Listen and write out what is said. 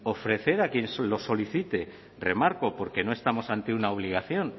ofrecer a quien lo solicite remarco porque no estamos ante una obligación